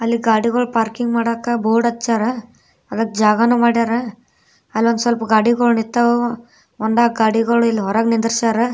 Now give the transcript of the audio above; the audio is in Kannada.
ಅಲ್ಲಿ ಗಾದೆಗಳು ಪಾರ್ಕಿಂಗ್ ಮಾಡೋಕೆ ಬೋರ್ಡ್ ಹಚ್ಚವ್ರ ಅದಕ್ಕೆ ಜಾಗನು ಮಾಡ್ಯಾರ ಅಲ್ಲೊಂದು ಸ್ವಲ್ಪ ಗಾಡಿಗಳು ನಿಂತಾವು ಒಂದು ನಾಲಕ್ಕು ಗಾಡಿಗಳು ಇಲ್ಲಿ ಹೊರಗೆ ನಿಂದ್ರಸಾರ.